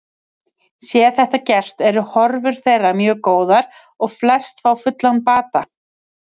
Sé þetta gert eru horfur þeirra mjög góðar og flest fá fullan bata.